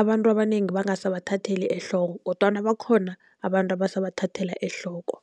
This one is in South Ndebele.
abantu abanengi bangasabathatheli ehloko. Kodwana bakhona abantu abasabathathela ehloko.